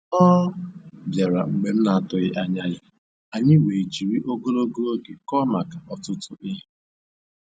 Ọ bịara mgbe m na-atụghị anya ya, anyị wee jiri ogologo oge kọọ maka ọtụtụ ihe